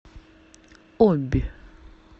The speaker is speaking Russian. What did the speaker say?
обь